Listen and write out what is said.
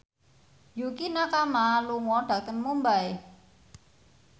Yukie Nakama lunga dhateng Mumbai